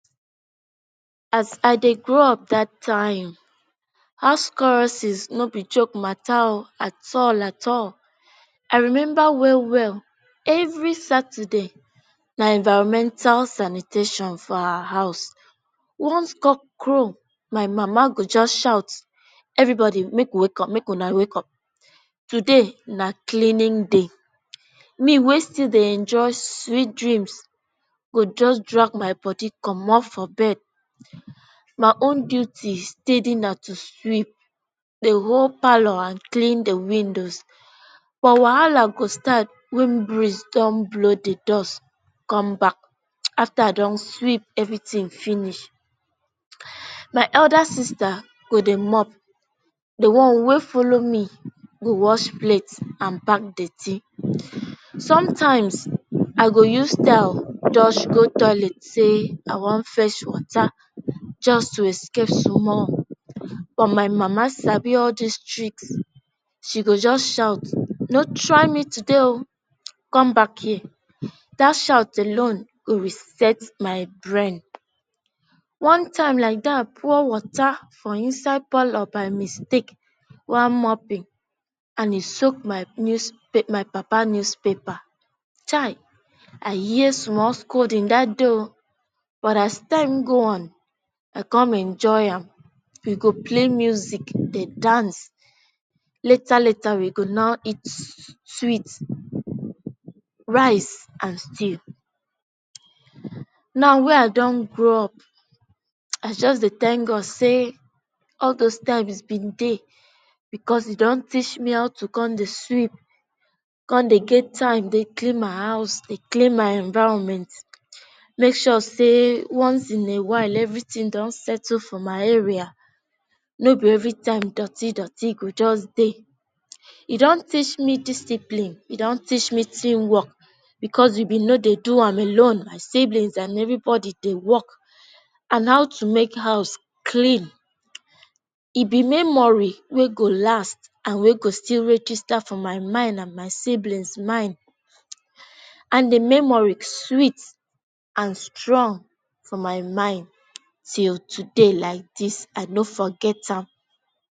As I Dey grow up that time house crosses no be joke mata oo at all at all. I remember well well, every Saturday na environmental sanitation for our house. Once cock crow, my mama go just shout, ‘everybody make you wake up make una wake up. Today na cleaning day’. Me wey still dey enjoy sweet dreams go just drag my body comot from bed. My own duty steady na to sweep the whole parlor and clean the windows but wahala go start when breeze dun blow the dust come back after I dun sweep everything finish. My elder sister go dey mop, the one wey follow me go wash plate and pack dirty. Sometimes, I go use style dodge go toilet say I wan Dey fetch water just to escape sumall. But my mama sabi all these tricks. She go just shout ‘ no try me today oo. Come back here’ that shout alone go reset my brain. One time like that, pour water for inside parlor by mistake while moping and e soak my news my papa news paper. Chai, I hear small scolding that day oo but as time go on I come enjoy am. We go play music dey dance. Later later we go come eat sweet rice and stew. Now wey I dun grow up I just Dey thank God say all those times dem dey because e dun teach me how to Dey sweep con dey get time dey clean my house Dey clean my environment, make sure say once in a while everything dun settle for my area. No be every time dorty dorty go just Dey. E dun reach me discipline e dun teach me team work. Because we bin no Dey do am alone my siblings and everybody Dey work on how to make house clean. E be memory wey go last and wey go still register for my mind and my siblings mind and the memory sweet and strong for my mind till today like this I no forget am.